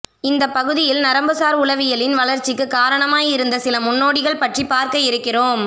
இந்தப் பகுதியில் நரம்புசார் உளவியலின் வளர்ச்சிக்கு காரணமாய் இருந்த சில முன்னோடிகள் பற்றிப் பார்க்க இருக்கிறோம்